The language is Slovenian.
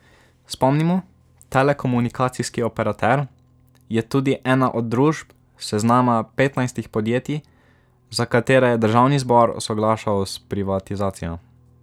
Spomnimo, telekomunikacijski operater je tudi ena od družb s seznama petnajstih podjetij, za katere je državni zbor soglašal s privatizacijo.